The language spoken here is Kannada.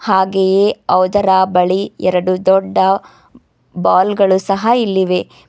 ಹಾಗೆಯೇ ಅವುದರ ಬಳಿ ಎರಡು ದೊಡ್ಡ ಬಾಲ್ ಗಳು ಸಹ ಇಲ್ಲಿವೆ.